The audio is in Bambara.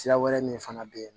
Sira wɛrɛ min fana be ye